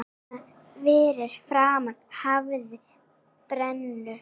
Þarna fyrir framan hafði brennu